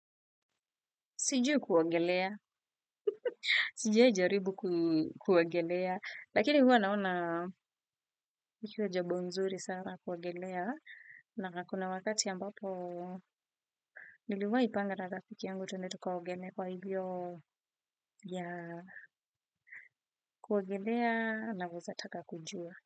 Sijui kuogelea. Sijawahi jaribu kuogelea. Lakini huwa naona ikiwa jambo nzuri sana kuogelea na kuna wakati ambapo niliwahi panga na rafiki yangu twende tukaogelee kwa hivyo yeah kuogelea naweza taka kujua.